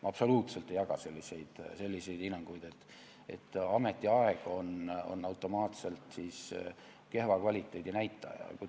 Ma absoluutselt ei jaga selliseid hinnanguid, nagu ametiaeg oleks automaatselt kehva kvaliteedi näitaja.